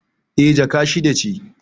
Eh, Jaka shida ce